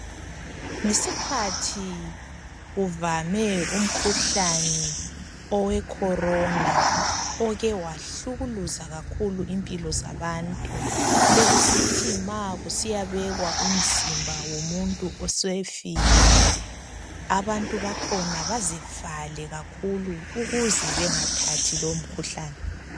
Ngesikhathi kuvame umkhuhlane owe Khorona oke wahlukuluza kakhulu impilo zabantu bekusithi ma kusiyabekwa umzimba womuntu osefile abantu bakhona bazivale kakhulu ukuze bangathathi lowomkhuhlane.